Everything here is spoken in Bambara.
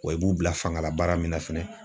Wa i b'u bila fangala baara min na fɛnɛ